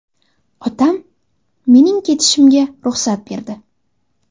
Otam mening ketishimga ruxsat berdi.